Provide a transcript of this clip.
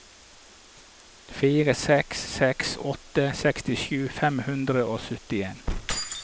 fire seks seks åtte sekstisju fem hundre og syttien